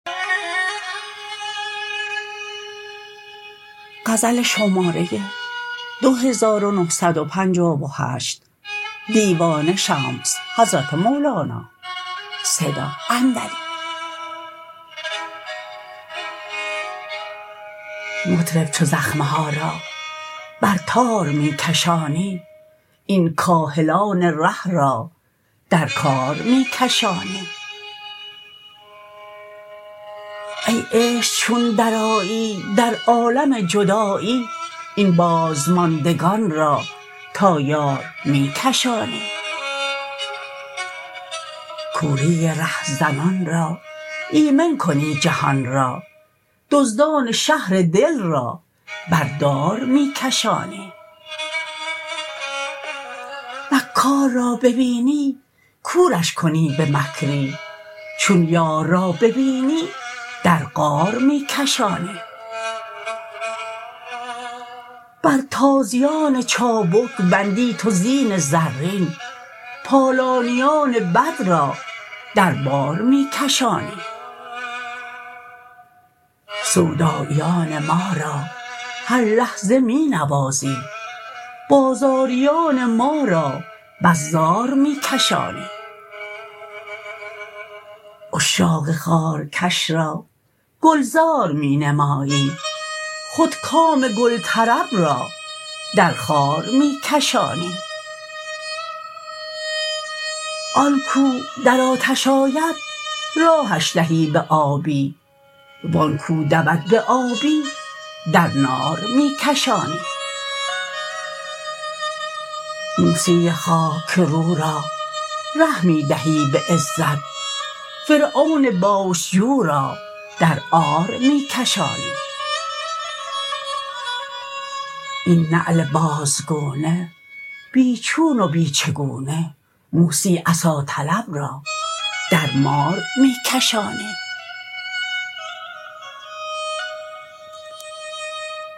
مطرب چو زخمه ها را بر تار می کشانی این کاهلان ره را در کار می کشانی ای عشق چون درآیی در عالم جدایی این بازماندگان را تا یار می کشانی کوری رهزنان را ایمن کنی جهان را دزدان شهر دل را بر دار می کشانی مکار را ببینی کورش کنی به مکری چون یار را ببینی در غار می کشانی بر تازیان چابک بندی تو زین زرین پالانیان بد را در بار می کشانی سوداییان ما را هر لحظه می نوازی بازاریان ما را بس زار می کشانی عشاق خارکش را گلزار می نمایی خودکام گل طرب را در خار می کشانی آن کو در آتش آید راهش دهی به آبی و آن کو دود به آبی در نار می کشانی موسی خاک رو را ره می دهی به عزت فرعون بوش جو را در عار می کشانی این نعل بازگونه بی چون و بی چگونه موسی عصاطلب را در مار می کشانی